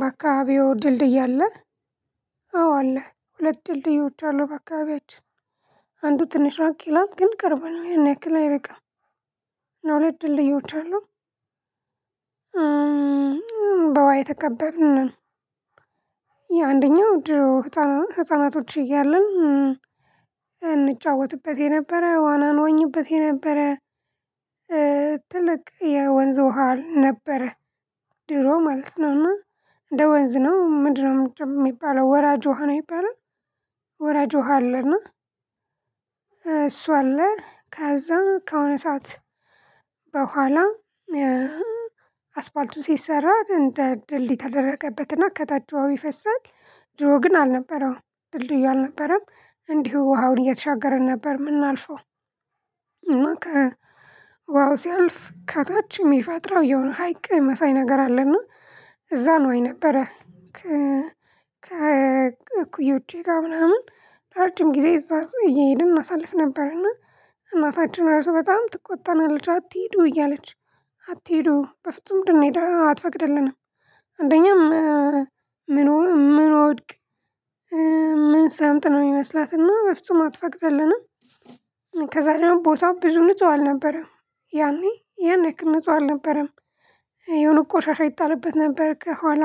በአካባቢው ድልድይ አለ። አዎ አለ ሁለት ድልድዮች አሉ። በአካባቢያችን አንዱ ትንሽ ራቅ ይላል ግን ቅርብ ነው ይሄን ያክል አይርቅም። እና ሁለት ድልድዎች አሉ። በወሃ የተከበብን ነን። የአንደኛው ህፃናቶች እያለን እንጫወትበት የነበረ ዋናን ዋኝበት የነበረ። ትልቅ የወንዝ ውሃ ነበረ። ድሮ ማለት ነውና እንደ ወንዝ ነው ምንድነው የሚባለው ወራጅ ውሃ ነው የሚባለው። ወራጅ ውሃ አለና እሱ አለ ከዛ ከሆነ ሰዓት በኋላ። አስፋልቱ ሲሰራ እንደ ድልድይ ተደረገበትና ከታች ውሃው ይፈሳል። ድሮ ግን አልነበረውም ድልድዩ አልነበረም እንዲሁ ውሃውን እየተሻገረን ነበር የምናልፈው። ውሃው ሲያልፍ ከታች የሚፈጥረው የሆነ ሀይቅ የመሳይ ነገር አለና እና እዛ ነው የነበረ። ከ እኩዮቼ ጋር ምናምን ረጅም ጊዜ እዛ እየሄድን እናሳልፍ ነበርና። እናታችን ራሱ በጣም ትቆጠናለች አትሄዱ እያለች አትሄዱ በፍጹም እንድንሄድ አትፈቅድልንም። አንደኛም ምን ምንወድቅ ምንሰምጥ ነው የሚመስላት እና በፍጹም አትፈቅድልንም። ከዛ ደግሞ ቦታው ብዙ ንጹህ አልነበረም። ያኔ ያን ያክል ንጹህ አልነበረም። የሆነ ቆሻሻ ይጣልበት ነበር ከኋላ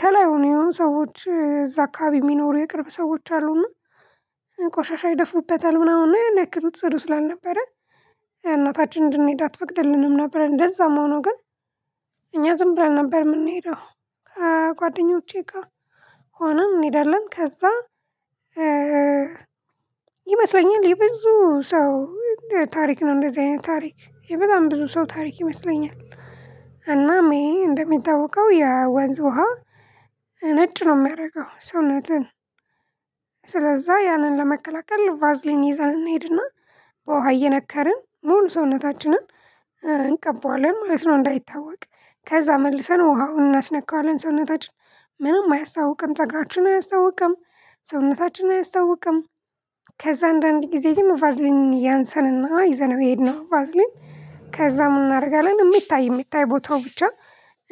ከላይ ሆነው የሆኑ ሰዎች እዛ አካባቢ የሚኖሩ የቅርብ ሰዎች አሉና። ቆሻሻ ይደፉበታል ምናምን ያክል ጽዱ ስላልነበረ። እናታችን እንድንሄድ አትፈቅደልንም ነበር። እንደዛም ሆኖ ግን እኛ ዝም ብለን ነበር የምንሄደው። ከጓደኞቼ ጋር ሆነን እንሄዳለን። ከዛ ይመስለኛል የብዙ ሰው ታሪክ ነው እንደዚህ አይነት ታሪክ ይሄ በጣም ብዙ ሰው ታሪክ ይመስለኛል። እናም ይሄ እንደሚታወቀው የወንዝ ውሃ ነጭ ነው የሚያደርገው ሰውነትን። ስለዛ ያንን ለመከላከል ቫዝሊን ይዘን እንሂድና። በውሃ እየነከርን መሉ ሰውነታችንን እንቀበዋለን ማለት ነው። እንዳይታወቅ ከዛ መልሰን ውሃውን እናስነካዋለን ሰውነታችን ምንም አያስታውቅም ፀጉራችን አያስታውቅም ሰውነታችን አያስታውቅም። ከዛ አንዳንዴ ጊዜ ቫዝሊን ያንሰንና ይዘነው የሄድነው ባዝሊን። ከዛ ምን እናደርጋለን የሚታይ የሚታይ ቦታው ብቻ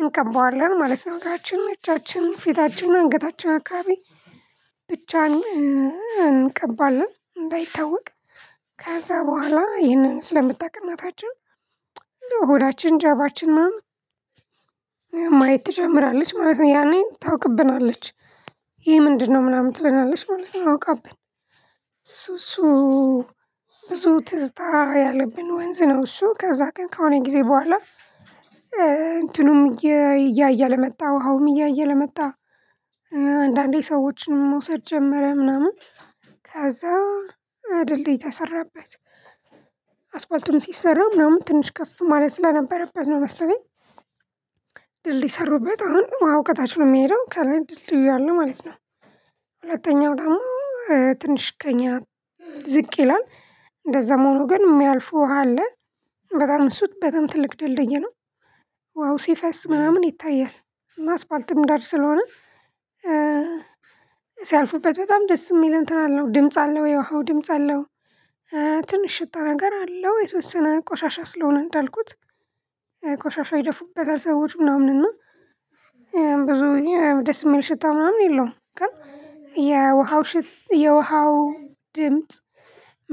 እንቀባዋለን ማለት ነው። እግራችን እጃችን ፊታችን አንገታችን አካባቢ ብቻ እንቀባለን እንዳይታወቅ። ከዛ በኋላ ይህንን ስለምታውቅ እናታችን። ሆዳችን ጃርባችን ማየት ትጀምራለች ማለት ነው ያኔ ታውቅብናለች። ይሄ ምንድነው? ምናምን ትለናለች ማለት ነው። አውቃብን ሱሱ ብዙ ትዝታ ያለብን ወንዝ ነው። እሱ ከዛ ግን ከሆኔ ጊዜ በኋላ እንትኑም እያየ አለመጣ ውሃውም እያየ አለመጣ። አንዳንዴ ሰዎችን መውሰድ ጀመረ ምናምን ከዛ ድልድይ ተሰራበት። አስፋልትም ሲሰራ ምናምን ትንሽ ከፍ ማለት ስለነበረበት ነው መሰለኝ። ድልድይ ሰሩበት አሁን ውሃው ከታች ነው የሚሄደው ከላይ ድልድዩ እያለ ማለት ነው። ሁለተኛው ደግሞ ትንሽ ከእኛ ዝቅ ይላል። እንደዛ መሆኑ ግን የሚያልፉ ውሃ አለ። በጣም እሱ በጣም ትልቅ ድልድይ ነው። ውሃው ሲፈስ ምናምን ይታያል። አስፋልትም ዳር ስለሆነ ሲያልፉበት በጣም ደስ የሚል እንትን አለው ድምጽ አለው የውሃው ድምጽ አለው። ትንሽ ሽታ ነገር አለው የሶስት ስነ ቆሻሻ ስለሆነ እንዳልኩት። ቆሻሻ ይደፉበታል ሰዎች ምናምን እና ብዙ ደስ የሚል ሽታ ምናምን የለውም። ግን የውሃው ሽታ የውሃው ድምጽ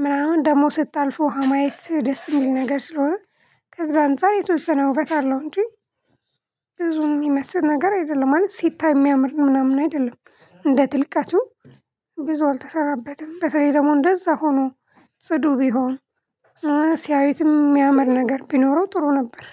ምናምን ደግሞ ስታልፍ ውሃ ማየት ደስ የሚል ነገር ስለሆነ። ከዛ አንፃር የተወሰነ ውበት አለው እንጂ። ብዙ የሚመስል ነገር አይደለም ማለት ስታይ የሚያምር ምናምን አይደለም። እንደ ጥልቀቱ ብዙ አልተሰራበትም። በተለይ ደግሞ እንደዛ ሆኖ ጽዱ ቢሆን ሲያዩትም የሚያመር ነገር ቢኖረው ጥሩ ነበር